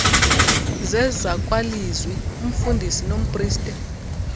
zezakwalizwi umfundisi nompriste